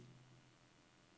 P R I N T E R B E H O V